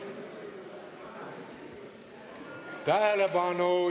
Tähelepanu!